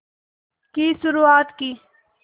की शुरुआत की